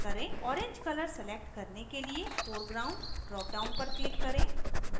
orange color select करने के लिए foreground dropdown पर click करें